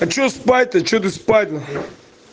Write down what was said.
хочу спать то что ты спать